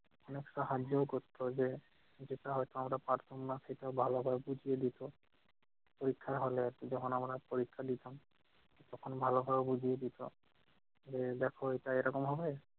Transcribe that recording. জিনিসটা হাত দিয়েও করতো যে যেটা হয়তো আমরা পারব না সেটা ভালো করে বুঝিয়ে দিতো। পরীক্ষার হলে যখন আমরা পরীক্ষা দিতাম, তখন ভালো ভাবে বুঝিয়ে দিত, যে দেখ এইটা এরকম হবে-